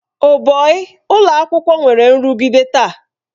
Oh bọi! ụlọ akwụkwọ nwere nrụgide taa.